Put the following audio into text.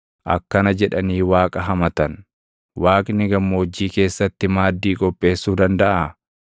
Akkana jedhanii Waaqa hamatan; “Waaqni gammoojjii keessatti maaddii qopheessuu dandaʼaa?